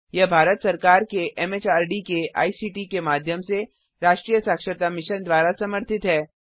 यह भारत सरकार के एमएचआरडी के आईसीटी के माध्यम से राष्ट्रीय साक्षरता मिशन द्वारा समर्थित है